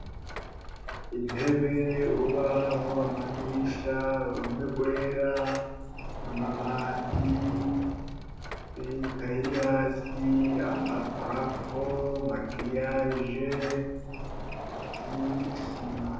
Intebe, urubaho, amadirisha, urume rwera, amabati, ikaye iri hasi, amaprafo, amagriyaje n'isima.